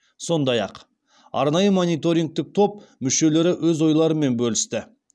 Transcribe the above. сондай ақ арнайы мониторингтік топ мүшелері өз ойларымен бөлісті